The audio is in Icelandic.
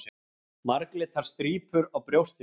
Marglitar strípur á brjóstinu.